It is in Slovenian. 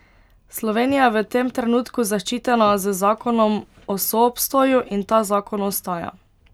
Slovenija je v tem trenutku zaščitena z zakonom o soobstoju in ta zakon ostaja.